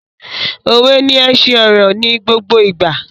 Òwe ni ẹṣin ọ̀rọ̀ ni gbogbo ìgbà